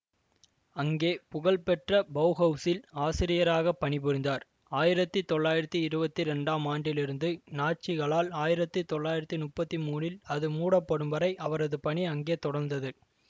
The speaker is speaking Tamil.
அங்கே புகழ் பெற்ற பௌஹவுசில் ஆசிரியராக பணிபுரிந்தார் ஆயிரத்தி தொள்ளாயிரத்தி இருவத்தி இரண்டாம் ஆண்டிலிருந்து நாட்சிகளால் ஆயிரத்தி தொள்ளாயிரத்தி முப்பத்தி மூனில் அது மூடப்படும்வரை அவரது பணி அங்கே தொடர்ந்தது